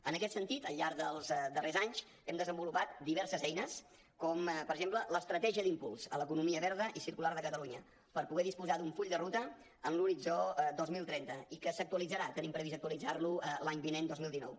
en aquest sentit al llarg dels darrers anys hem desenvolupat diverses eines com per exemple l’estratègia d’impuls a l’economia verda i circular de catalunya per poder disposar d’un full de ruta en l’horitzó dos mil trenta i que s’actualitzarà tenim previst actualitzar lo l’any vinent dos mil dinou